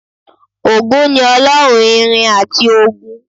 Ògún ni Ọlọ́run ìrìn àti ogun